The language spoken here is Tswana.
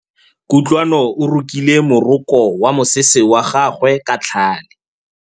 Kutlwanô o rokile morokô wa mosese wa gagwe ka tlhale.